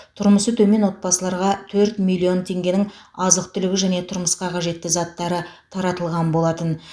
тұрмысы төмен отбасыларға төрт миллион теңгенің азық түлігі және тұрмысқа қажетті заттары таратылған болатын